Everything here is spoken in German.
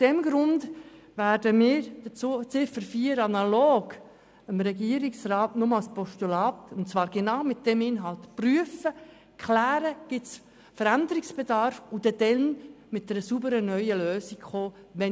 Deshalb werden wir die Ziffer 4 – wie vom Regierungsrat beantragt – nur als Postulat überweisen.